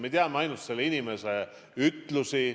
Me teame ainult selle inimesi ütlusi.